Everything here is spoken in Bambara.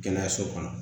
Kɛnɛyaso kɔnɔ